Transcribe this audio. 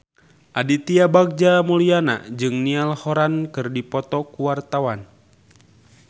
Aditya Bagja Mulyana jeung Niall Horran keur dipoto ku wartawan